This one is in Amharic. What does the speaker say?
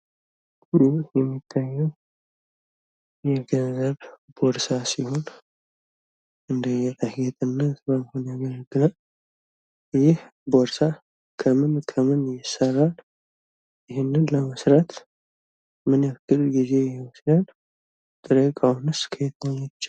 ይህ የሚታየው የገንዘብ ቦርሳ ሲሆን እንደ ጌጣጌጥነት ያገለግላል ይህ ቦርሳ ከምን ከምን ይሠራል ይህንም ቦርሳ ለመስራት ምን ያክል ጊዜ ይወስዳል? ጥሬ እቃውስ ከየት ነው የሚገኘው?